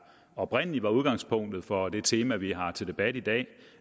oprindelig var udgangspunktet for det tema vi har til debat i dag